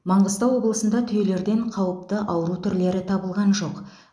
маңғыстау облысында түйелерден қауіпті ауру түрлері табылған жоқ